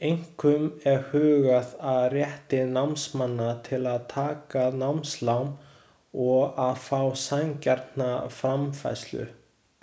Einkum er hugað að rétti námsmanna til að taka námslán og að fá sanngjarna framfærslu.